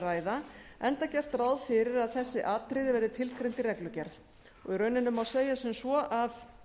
ræða enda gert ráð fyrir að þessi atriði verði tilgreind í reglugerð í rauninni má segja sem svo að